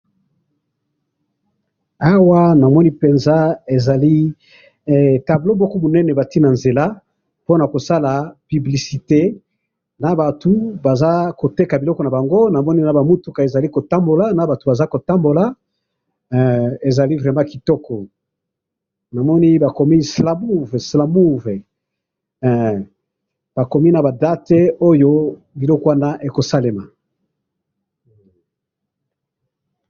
Awa namoni penza ezali eh! Tableau moko munene batye nanzela, ponakosala publicité, nabatu bazakoteka biloko nabango, namoni nabamituka ezali kotambola, nabatu bazali kotambola, eh! Ezali vraiment kitoko, namoni bakomi slamouv, eh! Bakomi naba date biloko wana ekosalema